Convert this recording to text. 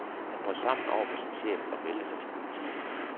Han brød sammen over for sin chef og meldte sig til politiet.